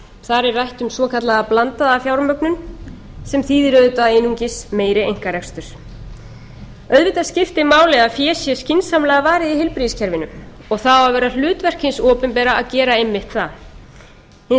er rætt um svokallaða blandaða fjármögnun sem þýðir auðvitað einungis meiri einkarekstur auðvitað skiptir máli að fé sé skynsamlega varið í heilbrigðiskerfinu og það á að vera hlutverk hins opinbera að gera einmitt það hins